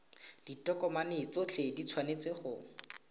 ditokomane tsotlhe di tshwanetse go